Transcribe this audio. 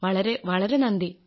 വളരെ വളരെ നന്ദി